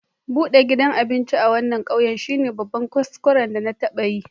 Budan gidan abinci a wanan ƙauye shine babban kuskuren da na taba yi.